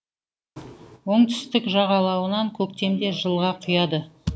оңтүстік жағалауынан көктемде жылға құяды